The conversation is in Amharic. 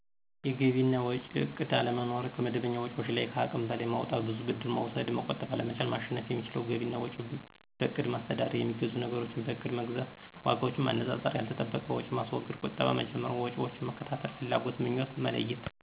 የገቢ እና ወጭ እቅድ አለመኖር፣ ከመደበኛ ወጭዎች ለይ ከሃቅም በለይ ማውጣት፣ ብዙ ብድር መውሰድ፣ መቆጠብ አለመቻል። ማሸነፍ የሚችለው ገቢ እና ወጭ በእቅድ ማስተዳደር፣ የሚገዙ ነገሮችን በእቅድ መግዛት፣ ዋጋዎችን ማነፃፀር፣ ያልተጠበቀ ወጭ ማስወገድ፣ ቀጠባ መጀመር፣ ወጭዎችን መከታተል፣ ፍላጎትና ምኞትን መለየት